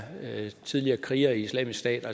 tidligere krigere i islamisk stat